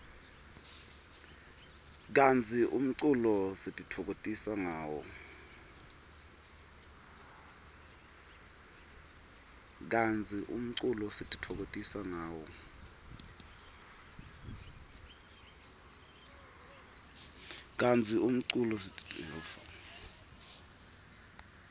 kantsi umculo sitifokotisa ngawo